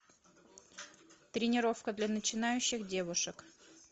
тренировка для начинающих девушек